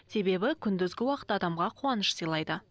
себебі күндізгі уақыт адамға қуаныш сыйлайды